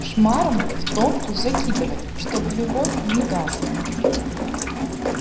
шмарам в топку закидывать чтоб любовь не гасла